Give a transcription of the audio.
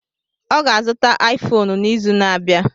Ọ ga-azụta Aifonu n'izu na-abịa.